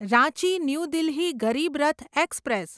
Ranchi new Delhi Garib Rath express